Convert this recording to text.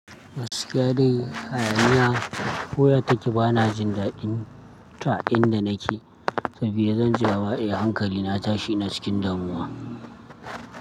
Gaskiya dai hayaniya, koya take ba na jin daɗin ta inda nake, sabida zan ji mama eh hankali na ya tashi na cikin damuwa.